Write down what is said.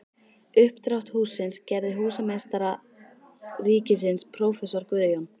Uppdrátt hússins gerði húsameistari ríkisins prófessor Guðjón